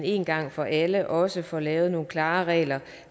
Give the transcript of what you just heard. en gang for alle også får lavet nogle klare regler